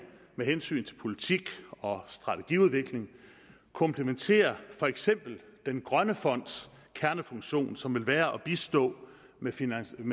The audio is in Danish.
med hensyn til politik og strategiudvikling komplementerer for eksempel den grønne fonds kernefunktion som vil være at bistå med finansiering